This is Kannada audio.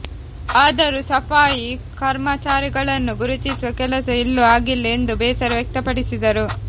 ಆದರೂ ಸಫಾಯಿ ಕರ್ಮಚಾರಿಗಳನ್ನು ಗುರುತಿಸುವ ಕೆಲಸ ಇಲ್ಲೂ ಆಗಿಲ್ಲ ಎಂದು ಬೇಸರ ವ್ಯಕ್ತಪಡಿಸಿದರು